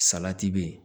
Salati be yen